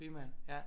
Primært ja